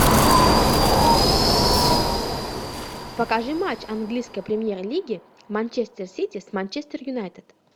покажи матч английской премьер лиги манчестер сити с манчестер юнайтед